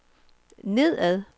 nedad